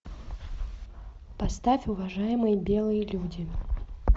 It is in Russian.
поставь уважаемые белые люди